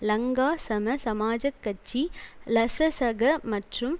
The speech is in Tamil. லங்கா சம சமாஜக் கட்சி லசசக மற்றும்